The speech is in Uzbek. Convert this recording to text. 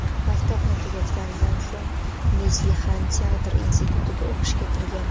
Maktabni tugatganidan so‘ng Neslihan teatr institutiga o‘qishga kirgan.